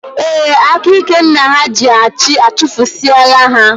Ee, aka ike nna ha ji achị, achufusie la ha